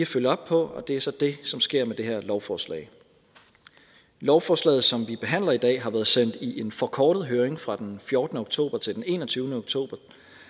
følge op på og det er så det som sker med det her lovforslag lovforslaget som vi behandler i dag har været sendt i en forkortet høring fra den fjortende oktober til den enogtyvende oktober